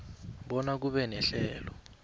bona kube nehlelo